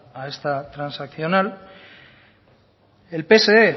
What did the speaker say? a esta transaccional el pse